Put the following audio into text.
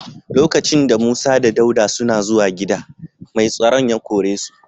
Lokacin da Musa da Dauda suna zuwan gida, mai tsaron ya kore su.